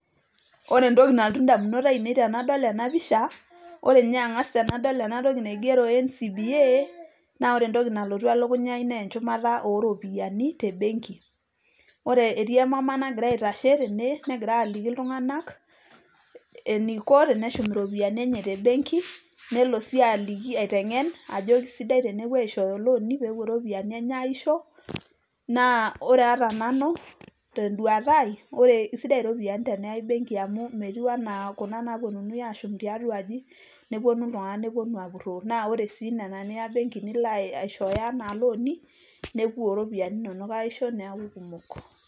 ore entoki nalotu indamunot ainei tenadol ena pisha, ore ninye angas tenado ena toki naigero NCBA naa ore entoki nalotu elukunya ai naa enchumata oo ropiyiani tembenki. Etii emama nagira aitashe negira aliki iltunganak eneiko teneshum irropiyiiani enye tembenki nelo sii aitengen ajo keisidai tenepuo aishooyo ilooni, pee epuo irropiyiani enye aisho naa ore ata nanu tenduata ai naa keisidai irropiyiani teneyai benki amu metiu anaa kuna naaponunui aashum tiatua aji neponu iltunganak neponu aapurroo. naa ore sii nena niya benki nepui aaishooyo anaa ilooni nepuo irropiyiani innonok aisho